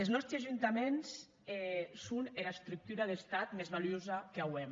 es nòsti ajuntaments son era estructura d’estat mès valuosa qu’auem